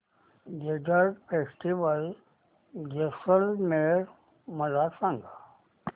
desert festival Jaisalmer मला सांग